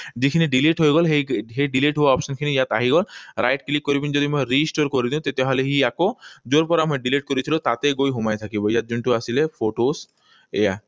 যিখিনি delete হৈ গল, সেই delete হোৱা option খিনি ইয়াত আহি গল। Right click কৰি পিনি যদি মই restore কৰি দিও তেতিয়াহলে সি আকৌ যৰ পৰা মই delete কৰিছিলো, তাতেই গৈ সোমাই থাকিব। ইয়াত যোনটো আছিল photos, এইয়া